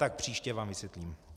Tak příště vám vysvětlím.